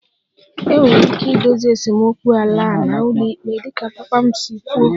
Enwere ike idozi esemokwu ala a naanị n'ụlọikpe dịka papa m si kwuo